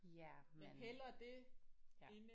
Ja men ja